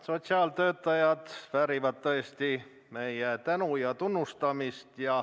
Sotsiaaltöötajad väärivad tõesti meie tänu ja tunnustust.